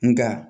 Nga